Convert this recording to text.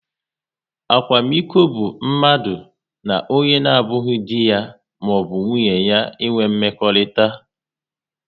Akwamiko bụ mmadu na onye na abụghị dị ya maọbụ nwunye ya ịnwe mmekọrịta